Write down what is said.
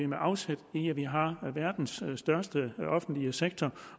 med afsæt i at vi har verdens største offentlige sektor